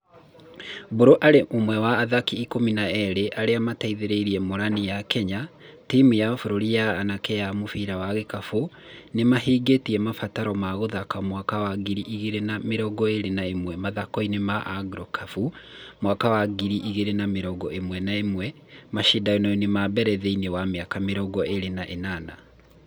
Mbũrũ arĩ ũmwe wa athaki ikũmi na erĩ arĩa mateithirie Morani ya Kenya, timũ ya bũrũri ya anake ya mũbira wa gĩkabũ nĩmahingĩtie mabataro ma gũthaka mwaka wa ngiri ĩgĩrĩ na mĩrongo ĩrĩ na ĩmwe mathakoinĩ ma Afrogĩkabũ mwaka wa ngĩrĩ igĩrĩ na mĩrongo ĩrĩ na ĩmwe mashindano na mbere thĩinĩ wa mĩaka mĩrongo ĩrĩ na ĩnana.